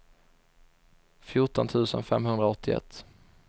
fjorton tusen femhundraåttioett